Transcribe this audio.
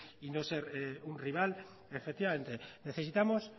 y no ser un rival efectivamente necesitamos